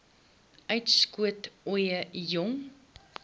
uitskot ooie jong